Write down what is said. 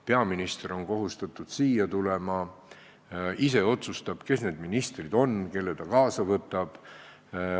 Peaminister on kohustatud siia tulema, ta ise otsustab, kes need ministrid on, kelle ta kaasa võtab.